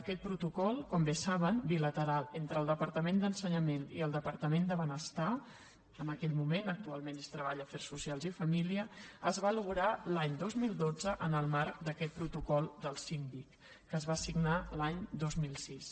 aquest protocol com bé saben bilateral entre el departament d’ensenyament i el departament de benestar en aquell moment actualment és treball afers socials i famílies es va aconseguir l’any dos mil dotze en el marc d’aquest protocol del síndic que es va signar l’any dos mil sis